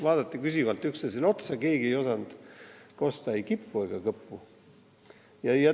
Vaadati küsivalt üksteisele otsa, keegi ei osanud kosta ei kippu ega kõppu.